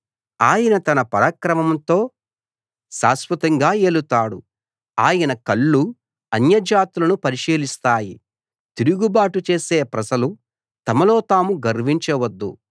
ఆయన తన పరాక్రమంతో శాశ్వతంగా ఏలుతాడు ఆయన కళ్ళు అన్యజాతులను పరిశీలిస్తాయి తిరుగుబాటుచేసే ప్రజలు తమలో తాము గర్వించవద్దు